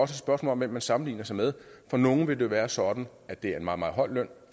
spørgsmål om hvem man sammenligner sig med for nogle vil det være sådan at det er en meget meget høj løn